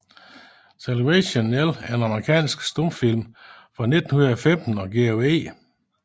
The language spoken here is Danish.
Salvation Nell er en amerikansk stumfilm fra 1915 af George E